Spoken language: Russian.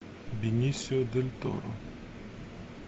бенисио дель торо